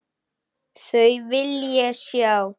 Þau vil ég sjá.